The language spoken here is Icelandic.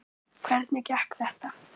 Hvernig gekk þetta?